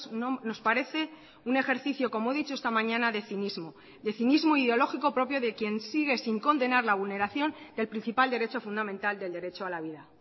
no nos parece un ejercicio como he dicho esta mañana de cinismo de cinismo ideológico propio de quien sigue sin condenar la vulneración del principal derecho fundamental del derecho a la vida